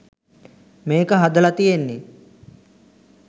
මේක හදල තියෙන්නෙ